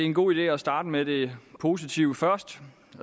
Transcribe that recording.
en god idé at starte med det positive